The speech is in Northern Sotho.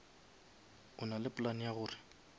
e nale plan ya gore